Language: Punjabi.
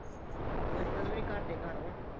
ਮੁਸ਼ਕਿਲ ਵੀ ਨਹੀਂ ਘਰ ਦੇ ਘਰ ਵਾ